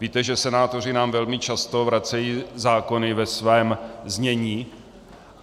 Víte, že senátoři nám velmi často vracejí zákony ve svém znění.